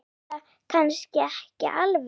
Eða kannski ekki alveg.